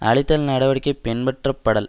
அழித்தல் நடவடிக்கைகள் பின்பற்றப்படல்